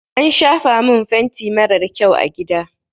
An shafa min fenti marar kyau a gida.